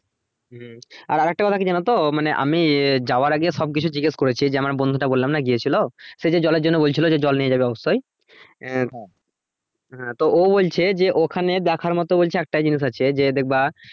হম আর আরেকটা কথা কি জানো তো মানে আমি যাওয়ার আগে সব কিছু জিজ্ঞেস করেছি যে আমার বন্ধুটা বললাম না গিয়েছিলো সে যে জলের জন্য বলছিলো যে জল নিয়ে যাবে অব্যশই এহ হ্যাঁ তো ও বলছে যে ওখানে দেখার মতো বলছে একটাই জিনিস আছে যে দেখবা